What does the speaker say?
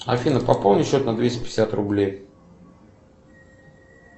афина пополни счет на двести пятьдесят рублей